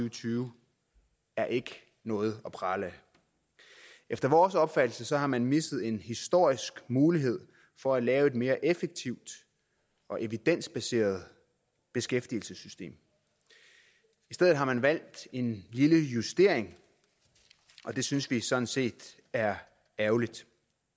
og tyve er ikke noget at prale af efter vores opfattelse har man misset en historisk mulighed for at lave et mere effektivt og evidensbaseret beskæftigelsessystem i stedet har man valgt en lille justering og det synes vi sådan set er ærgerligt